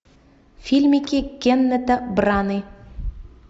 фильмики кеннета браны